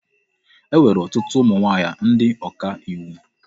E nwere ọtụtụ ụmụ nwaanyị ndị ọkà iwu.